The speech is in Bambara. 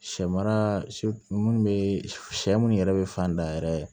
Sɛ mara minnu bɛ sɛ munnu yɛrɛ bɛ fan da yɛrɛ ye